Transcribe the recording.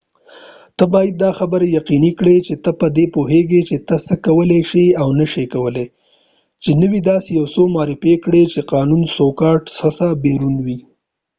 ته باید دا خبره یقینی کړی چی ته په دی پوهیږی چی ته څه کولای شی او نه شی کولای چی نوی داسی یو څه معرفی کړی چی د قانونی چوکاټ څخه بیرون وی